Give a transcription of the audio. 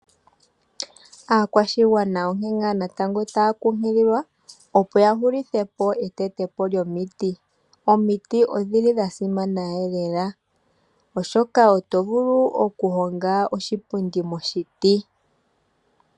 Aakwashigwana onkene ngaa natango taa kunkililwa opo ya hulithe po etete po lyomiti. Omiti odhili dha simana lela, oshoka oto vulu okuhonga oshipundi moshiti.